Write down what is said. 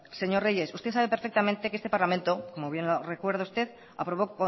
señor reyes usted sabe perfectamente que este parlamento como bien lo recuerda usted aprobó